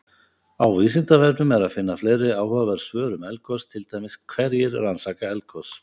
Á Vísindavefnum er að finna fleiri áhugaverð svör um eldgos, til dæmis: Hverjir rannsaka eldgos?